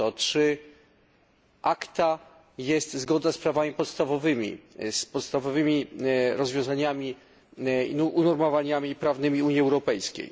o to, czy ACTA jest zgodne z prawami podstawowymi, z podstawowymi rozwiązaniami i unormowaniami prawnymi Unii Europejskiej.